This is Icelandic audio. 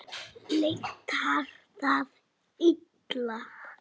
Lyktar það illa.